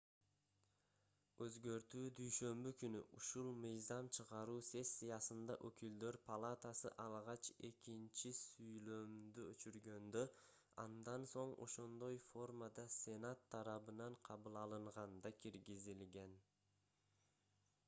өзгөртүү дүйшөмбү күнү ушул мыйзам чыгаруу сессиясында өкүлдөр палатасы алгач экинчи сүйлөмдү өчүргөндө андан соң ошондой формада сенат тарабынан кабыл алынганда киргизилген